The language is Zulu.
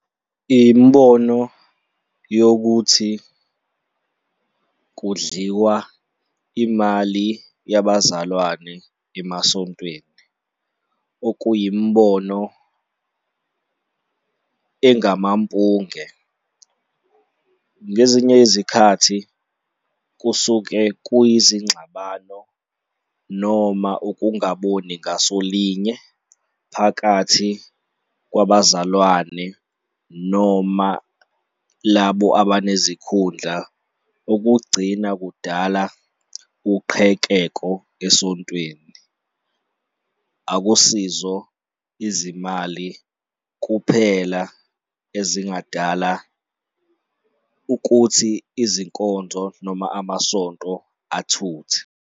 Imibono yokuthi kudliwa imali yabazalwane emasontweni okuyimibono engamampunge. Ngezinye izikhathi kusuke kuyizingxabano noma ukungaboni ngaso linye phakathi kwabazalwane noma labo abanezikhundla okugcina kudala uqhekeko esontweni. Akusizo izimali kuphela ezingadala ukuthi izinkonzo noma amasonto athuthe.